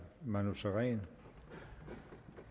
manu sareen